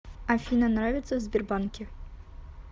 афина нравится в сбербанке